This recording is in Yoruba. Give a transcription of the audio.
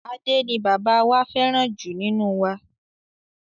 Ade ni bàbá wá fẹràn ju nínú wa.